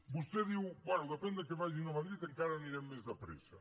vostè diu bé depèn del que facin a madrid encara anirem més de pressa